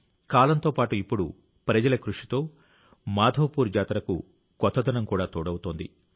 కాలంతో పాటు ఇప్పుడు ప్రజల కృషితో మాధవపూర్ జాతరకు కొత్తదనం కూడా తోడవుతోంది